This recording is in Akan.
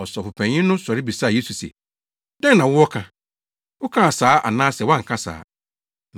Ɔsɔfopanyin no sɔre bisaa Yesu se, “Dɛn na wowɔ ka? Wokaa saa anaasɛ woanka saa?”